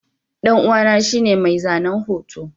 ɗan'uwa shine mai zanen hoto.